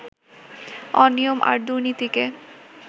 অনিয়ম আর দুর্নীতিকে